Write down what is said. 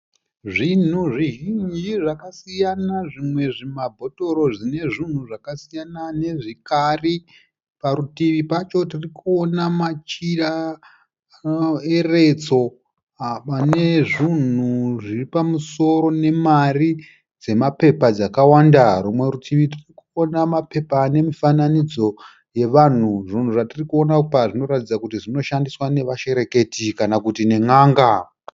Zvinhu zvizhinji zvakasiyana. Zvimwe zvimabhotoro zvine zvinhu zvakasiyana nezvikari. Parutivi pacho tiri kuona machira eretso ane zvinhu zviri pamusoro nemari dzamapepa dzakawanda. Rumwe rutivi, tiri kuona mapepa ane mifananidzo yevanhu. Zvinhu zvatiri kuona apa zvinoratidza kuti zvinoshandiswa navashereketi kana kuti nen'anga.